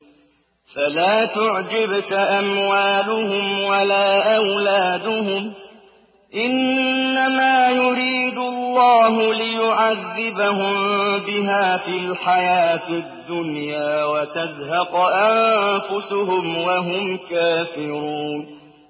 فَلَا تُعْجِبْكَ أَمْوَالُهُمْ وَلَا أَوْلَادُهُمْ ۚ إِنَّمَا يُرِيدُ اللَّهُ لِيُعَذِّبَهُم بِهَا فِي الْحَيَاةِ الدُّنْيَا وَتَزْهَقَ أَنفُسُهُمْ وَهُمْ كَافِرُونَ